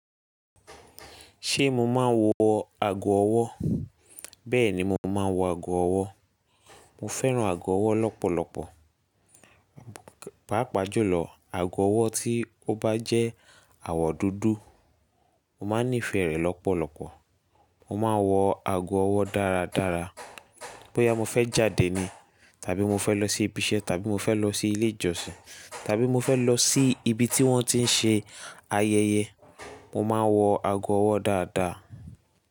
Ṣé mo máa ń wọ ago ọwọ́? Bẹ́ẹ̀ni, mo máa ń wọ ago ọwọ́. Mo fẹ́ran ago ọwọ́ lọ́pọ̀lọpọ̀. Páápàá jùlọ, ago ọwọ́ tí ó bá jẹ́ àwọ̀ dúdú, mo máa ń nífẹ̀ẹ́ rẹ̀ lọ́pọ̀lọpọ̀. Mo máa ń wọ ago ọwọ́ dáradára. Bóyá mo fẹ́ jáde ni, tàbí mo fẹ́ lọ sí ibi iṣẹ́, tàbí mo fẹ́ lọ sí ilé ìjọsìn, tàbí mo fẹ́ lọ sí ibi tí wọ́n ti ń ṣe ayẹyẹ, mo máa ń wọ ago ọwọ́ dáadáa.